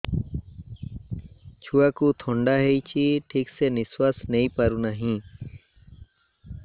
ଛୁଆକୁ ଥଣ୍ଡା ହେଇଛି ଠିକ ସେ ନିଶ୍ୱାସ ନେଇ ପାରୁ ନାହିଁ